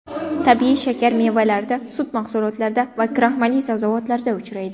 Tabiiy shakar mevalarda, sut mahsulotlarida va kraxmalli sabzavotlarda uchraydi.